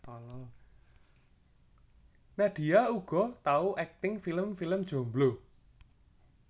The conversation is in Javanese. Nadia uga tau akting film film Jomblo